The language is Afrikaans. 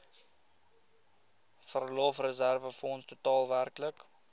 verlofreserwefonds totaal werklik